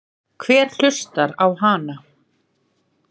Hver hlustar á hana?